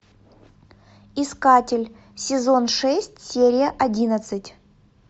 искатель сезон шесть серия одиннадцать